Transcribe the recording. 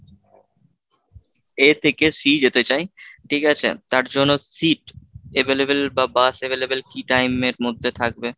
A থেকে C যেতে চাই ঠিক আছে? তার জন্য seat available বা bus available কি time এর মধ্যে থাকবে।